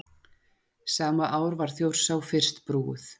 sama ár var þjórsá fyrst brúuð